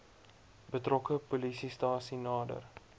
betrokke polisiestasie nader